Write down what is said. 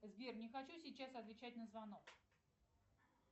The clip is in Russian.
сбер не хочу сейчас отвечать на звонок